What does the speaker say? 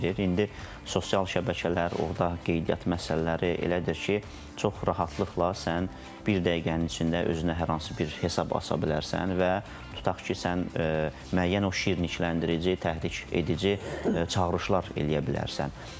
İndi sosial şəbəkələr, orda qeydiyyat məsələləri elədir ki, çox rahatlıqla sən bir dəqiqənin içində özünə hər hansı bir hesab aça bilərsən və tutaq ki, sən müəyyən o şirnikləndirici, təhrik edici çağırışlar eləyə bilərsən.